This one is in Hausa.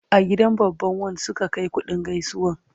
A gidan babban wan su aka Kai kuɗin gaisuwan